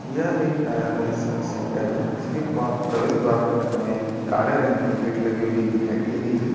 यह एक diagnostic centre है उसके पा- प्रवेश द्वार पर हमें काले रंग की गेट लगी हुई दिखाई दे रही है।